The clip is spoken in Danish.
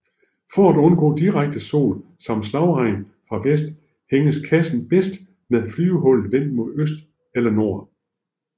For at undgå direkte sol samt slagregn fra vest hænges kassen bedst med flyvehullet vendt mod nord eller øst